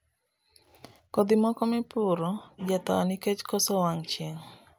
Kodhi moko mipuro jathoo nikeche koso wang' chieng'